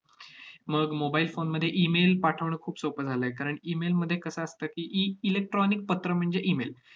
मग mobile phone मध्ये email पाठवणं खूप सोपं झालं आहे. कारण, email मध्ये कसं असतं की, ई~ electronic पत्र म्हणजे email